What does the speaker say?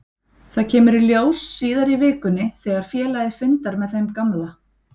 Það kemur í ljós síðar í vikunni þegar félagið fundar með þeim gamla.